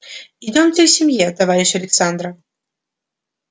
идёмте семье товарищ александра